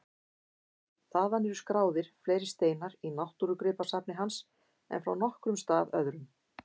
Þaðan eru skráðir fleiri steinar í náttúrugripasafni hans en frá nokkrum stað öðrum.